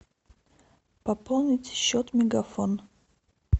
пополнить счет мегафон